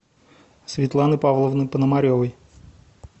светланы павловны пономаревой